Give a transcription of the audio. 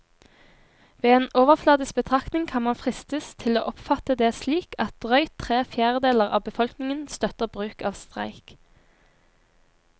Ved en overfladisk betraktning kan man fristes til å oppfatte det slik at drøyt tre fjerdedeler av befolkningen støtter bruk av streik.